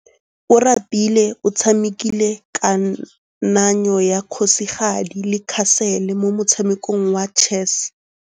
Oratile o tshamekile kananyô ya kgosigadi le khasêlê mo motshamekong wa chess.